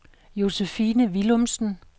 Josephine Willumsen